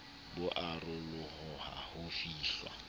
bo a raroloha ho fihlwa